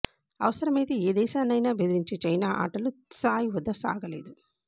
అవసరమైతే ఏ దేశాన్నైనా బెదిరించే చైనా ఆటలు త్సాయ్ వద్ద సాగలేదు